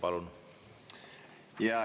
Palun!